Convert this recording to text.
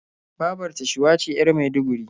Babar ta Shuwa ce 'yar Maiduguri.